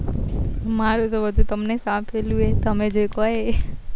મારું તો બધું તમને જ સોપેલું છે તમે જે કો એ